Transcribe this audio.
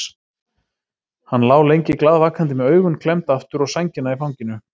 Hann lá lengi glaðvakandi með augun klemmd aftur og sængina í fanginu.